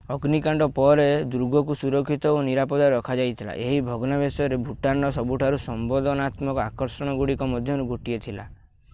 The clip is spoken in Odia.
ଅଗ୍ନିକାଣ୍ଡ ପରେ ଦୁର୍ଗକୁ ସଂରକ୍ଷିତ ଓ ନିରାପଦ ରଖାଯାଇଥିଲା ଏହି ଭଗ୍ନାବଶେଷ ଭୁଟାନର ସବୁଠାରୁ ସମ୍ବେଦନାତ୍ମକ ଆକର୍ଷଣଗୁଡ଼ିକ ମଧ୍ୟରୁ ଗୋଟିଏ ଥିଲା